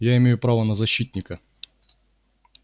я имею право на защитника